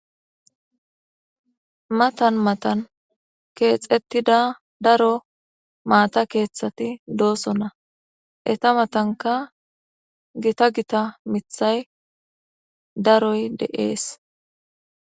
matan matan keexettida daro maata keeththati dooso na eta matanka gita gita mithay daroy de7ees